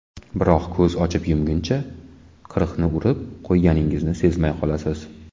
Biroq ko‘z ochib yumguncha qirqni urib qo‘yganingizni sezmay qolasiz.